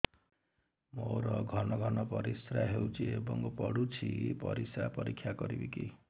ମୋର ଘନ ଘନ ପରିସ୍ରା ହେଉଛି ଏବଂ ପଡ଼ୁଛି ପରିସ୍ରା ପରୀକ୍ଷା କରିବିକି